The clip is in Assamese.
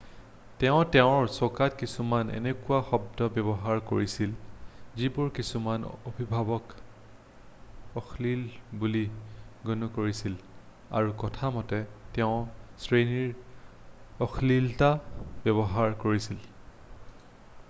তেওঁ তেওঁৰ টোকাত কিছুমান এনেকুৱা শব্দ ব্যৱহাৰ কৰিছিল যিবোৰ কিছুমান অভিভাৱকে অশ্লীল বুলি গণ্য কৰিছিল আৰু কথা মতে তেওঁ শ্ৰেণীত অশ্লীলতা ব্যৱহাৰ কৰিছিল